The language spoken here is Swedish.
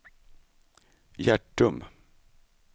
Hjärtum